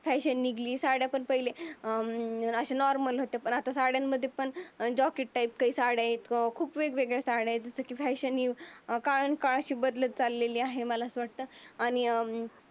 Fashion निघली साड्या पण पहिले अं लहान वाटत. पण साड्यांमध्ये अशा जॅकेट टाईप साड्या येतो. खूप वेगवेगळ्या साड्या येतो. ते की फॅशन ही काळांनी काळ अशी बदलत चालली आहे मला तर असं वाटतं आणि अं